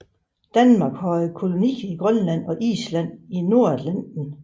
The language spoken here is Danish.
Danmark havde kolonier i Grønland og Island i Nordatlanten